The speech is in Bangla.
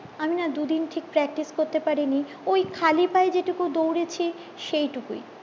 আমি না দুদিন ঠিক practice করতে পারিনি ওই খালি পায়ে যে টুকু দৌড়েছি সেই টুকুই